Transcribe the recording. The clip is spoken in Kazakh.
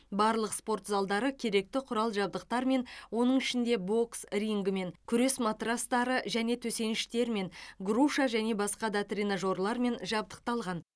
барлық спорт залдары керекті құрал жабдықтармен оның ішінде бокс рингімен күрес матрастары және төсеніштерімен груша және басқа да тренажерлармен жабдықталған